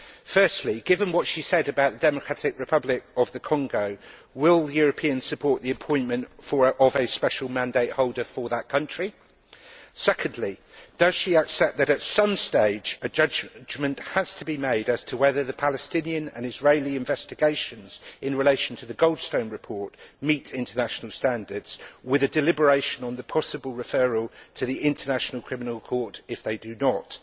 Firstly, given what she said about the Democratic Republic of the Congo, will Europeans support the appointment of a special mandate holder for that country? Secondly, does she accept that, at some stage, a judgment has to be made as to whether the Palestinian and Israeli investigations in relation to the Goldstone report meet international standards, with a deliberation on the possible referral to the International Criminal Court if they do not?